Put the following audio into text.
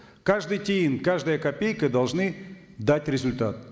каждый тиын каждая копейка должны дать результат